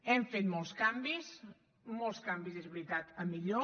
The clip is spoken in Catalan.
hem fet molts canvis molts canvis és veritat a millor